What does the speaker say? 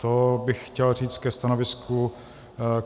To bych chtěl říct ke stanovisku vlády.